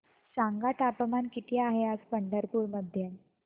सांगा तापमान किती आहे आज पंढरपूर मध्ये